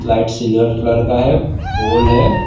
Light silver colour का है है।